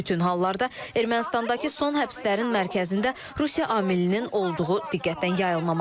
Bütün hallarda Ermənistandakı son həbslərin mərkəzində Rusiya amilinin olduğu diqqətdən yayılmamalıdır.